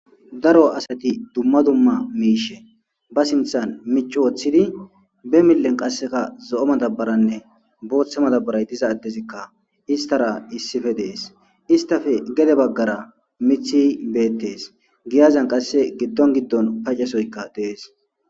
daro asati dumma dumma miishe ba sinthan mica wooththidi be millen qasseka zo7o matabaranne booththe matabaray diza adezikka istara issife dees istafe gede baggara mithi beettees giyazan qasse giddon giddon pacesoyka dees.